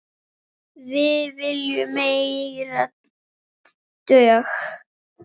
Við viljum meiri dögg!